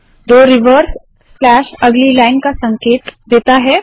दो reverse slash अगली line का संकेत देता है